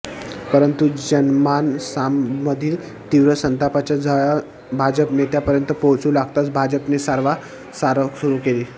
परंतु जनमानसामधील तीव्र संतापाच्या झळा भाजप नेत्यांपर्यंत पोहचु लागताच भाजपने सारवा सारव सुरु केली